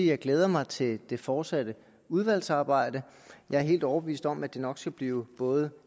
jeg glæder mig til det fortsatte udvalgsarbejde jeg er helt overbevist om at det nok skal blive både